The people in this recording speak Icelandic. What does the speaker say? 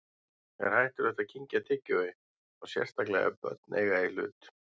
Er hættulegt að kyngja tyggjói, þá sérstaklega ef börn eiga í hlut?